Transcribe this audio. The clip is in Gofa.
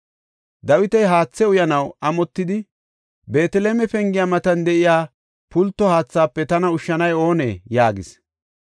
Dawiti haathe uyanaw amotidi, “Beeteleme pengiya matan de7iya pulto haathaafe tana ushshanay oone!” yaagis.